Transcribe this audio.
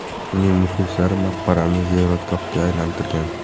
Uning muxlislari maqbarani ziyoratgohga aylantirgan.